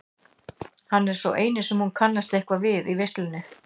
Hann er sá eini sem hún kannast eitthvað við í veislunni.